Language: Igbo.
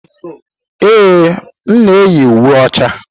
Ee, m na-eyi uwe ọcha.